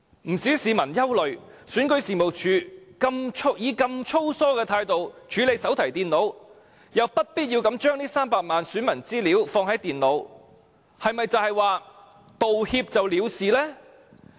不少市民憂慮，選舉事務處以如此粗疏的態度來處理手提電腦，又不必要地把這300多萬名選民資料存放在電腦內，是否道歉便可了事呢？